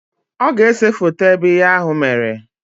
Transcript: Ọ ga-ese foto ebe ihe ahụ mere